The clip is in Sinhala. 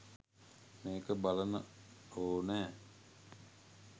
මේක බලන ඕනෑ